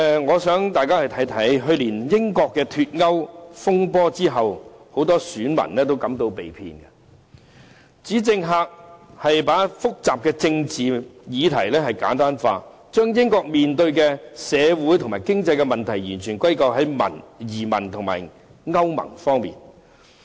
我想大家看看，去年英國脫歐風波後，很多選民都感到被騙，指政客把複雜的政治議題簡單化，將英國面對的社會及經濟問題完全歸咎於移民和歐盟方面。